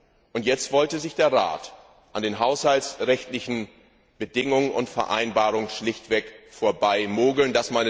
Der Rat wollte sich an den haushaltsrechtlichen Bedingungen und Vereinbarungen schlichtweg vorbeimogeln.